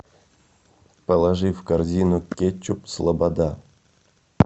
положи в корзину кетчуп слобода